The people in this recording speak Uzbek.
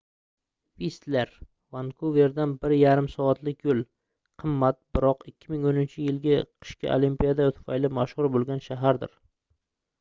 vistler vankuverdan 1,5 soatlik yo'l qimmat biroq 2010-yilgi qishki olimpiada tufayli mashhur bo'lgan shahardir